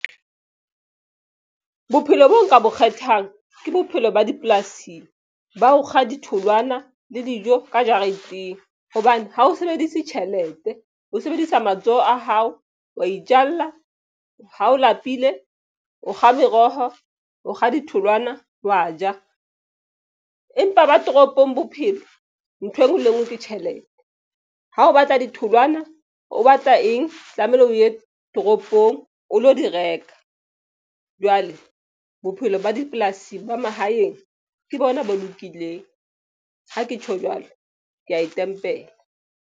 Bophelo boo nka bo kgethang ke bophelo ba dipolasing ba ho kga ditholwana le dijo ka jareteng hobane ha o sebedise tjhelete ho sebedisa matsoho a hao. Wa itjalla ha o lapile, o kga meroho, o kga ditholwana wa ja. Empa ba toropong bophelo ntho engwe le e nngwe ke tjhelete. Ha o batla ditholwana o batla e eng tlamehile o ye toropong, o lo di reka jwale bophelo ba dipolasing ba mahaeng ke bona bo lokileng Ha ke tjho jwalo ke ya e tempela.